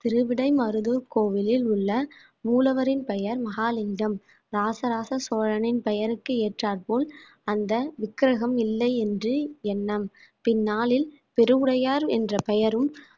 திருவிடைமருதூர் கோவிலில் உள்ள மூலவரின் பெயர் மகாலிங்கம் ராஜராஜ சோழனின் பெயருக்கு ஏற்றார் போல் அந்த விக்கிரகம் இல்லை என்று எண்ணம் பின்னாளில் பெருவுடையார் என்ற பெயரும்